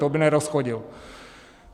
To by nerozchodil.